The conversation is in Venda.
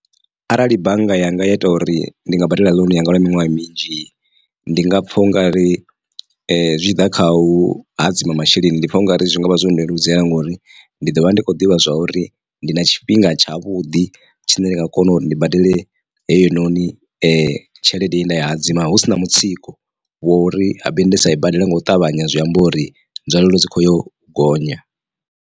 Arali bannga yanga ya ita uri ndi nga badela ḽounu yanga lwa miṅwaha minzhi ndi nga pfha u nga ri zwi tshiḓa khau hadzima masheleni ndi pfha ungari zwi ngavha zwo ndeludzela ngori ndi ḓo vha ndi khou ḓivha zwauri ndi na tshifhinga tshavhuḓi tshine nda nga kona uri ndi badele heyinoni tshelede ye nda i hadzima hu sina mutsiko wo uri habe ndasa i badela nga u ṱavhanya zwi amba uri nzwalelo dzi kho yo gonya.